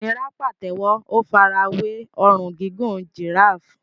Múnírá pàtẹ́wọ́, ó fara wé ọrùn gígùn giraffe.